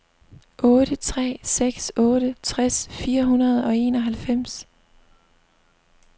otte tre seks otte tres fire hundrede og enoghalvfems